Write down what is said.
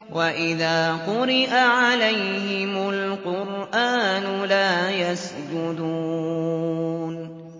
وَإِذَا قُرِئَ عَلَيْهِمُ الْقُرْآنُ لَا يَسْجُدُونَ ۩